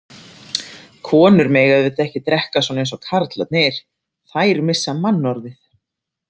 Konur mega auðvitað ekki drekka svona eins og karlarnir, þær missa mannorðið.